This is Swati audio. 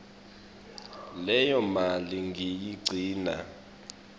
leyo mali ngiyigcina